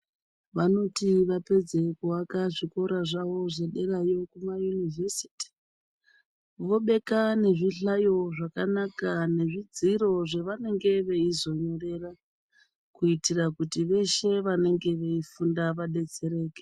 Vanoti vapedze kuaka zvikora zvavo zvederayo zvekuma univhesiti vobeka nezvihlayo zvakanaka nezvidziro zvavanenge veizonyorera kuitira kuti veshe vanenge veifunda vadetsereke.